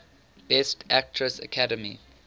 best actress academy